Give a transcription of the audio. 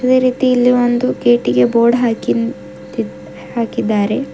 ಅದೇ ರೀತಿ ಇಲ್ಲಿ ಒಂದು ಗೇಟಿಗೆ ಬೋರ್ಡ್ ಹಾಕಿಂದ್ ತಿ ಹಾಕಿದ್ದಾರೆ.